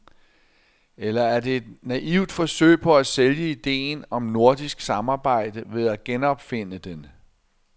Eller er det et naivt forsøg på at sælge idéen om nordisk samarbejde ved at genopfinde den.